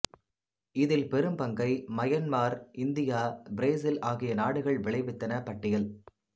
இதில் பெரும்பங்கை Myanmar India Brazil ஆகிய நாடுகள் விளைவித்தன பட்டியல்